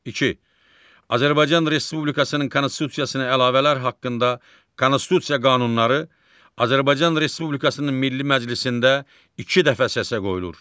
Azərbaycan Respublikasının konstitusiyasına əlavələr haqqında konstitusiya qanunları Azərbaycan Respublikasının Milli Məclisində iki dəfə səsə qoyulur.